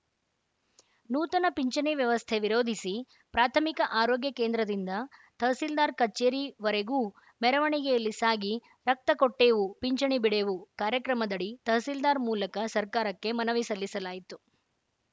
ನೂತನ ಪಿಂಚಣಿ ವ್ಯವಸ್ಥೆ ವಿರೋಧಿಸಿ ಪ್ರಾಥಮಿಕ ಆರೋಗ್ಯ ಕೇಂದ್ರದಿಂದ ತಹಸೀಲ್ದಾರ್‌ ಕಚೇರಿವರೆಗೂ ಮೆರವಣಿಗೆಯಲ್ಲಿ ಸಾಗಿ ರಕ್ತ ಕೊಟ್ಟೇವು ಪಿಂಚಣಿ ಬಿಡೆವು ಕಾರ್ಯಕ್ರಮದಡಿ ತಹಸೀಲ್ದಾರ್‌ ಮೂಲಕ ಸರ್ಕಾರಕ್ಕೆ ಮನವಿ ಸಲ್ಲಿಸಲಾಯಿತು